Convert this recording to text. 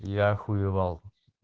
я охуевал